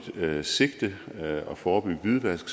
sigte at forebygge hvidvask